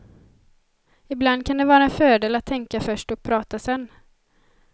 Ibland kan det vara en fördel att tänka först och prata sen.